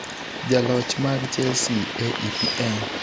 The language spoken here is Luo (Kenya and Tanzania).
Jaloch mag Chelsea e EPL